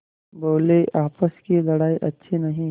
बोलेआपस की लड़ाई अच्छी नहीं